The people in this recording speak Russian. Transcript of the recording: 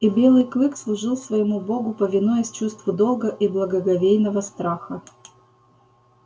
и белый клык служил своему богу повинуясь чувству долга и благоговейного страха